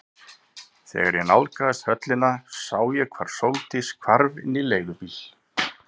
Þegar ég nálgaðist höllina sá ég hvar Sóldís hvarf inn í leigubíl.